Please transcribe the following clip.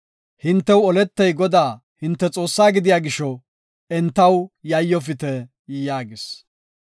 Hintew oletey Godaa hinte Xoossaa gidiya gisho, entaw yayyofite” yaagis.